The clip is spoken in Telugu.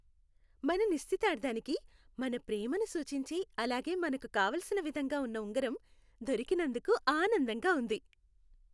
మన నిశ్చితార్థానికి మన ప్రేమను సూచించే అలాగే మనకు కావలసిన విధంగా ఉన్న ఉంగరం దొరికినందుకు ఆనందంగా ఉంది.